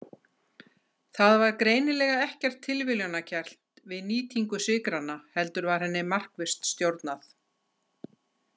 Það var greinilega ekkert tilviljunarkennt við nýtingu sykranna heldur var henni markvisst stjórnað.